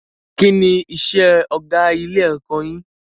Kí ni isẹ́ ọgá ilé ẹ̀kọ́ yin?